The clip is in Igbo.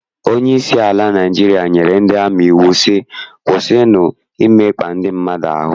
Onyeisi ala Naịjirịa nyere ndị amị iwu sị, kwụsịnụ imekpa ndị mmadụ ahụ!